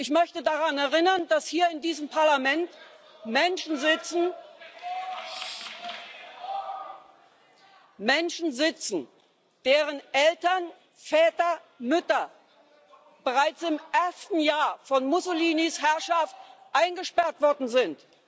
Ich möchte daran erinnern, dass hier in diesem Parlament Menschen sitzen, deren Eltern Väter, Mütter bereits im ersten Jahr von Mussolinis Herrschaft eingesperrt worden sind.